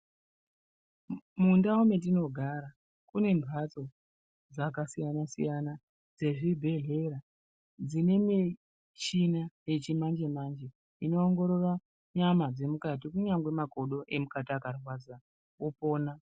Mundau metinogara kune mbatso dzakasiyana-siyana dzezvibhehlera dzine muchina yechimanje manje inoongorora nyama dzemukatu kunyangwe makodo emukati akarwadza opona .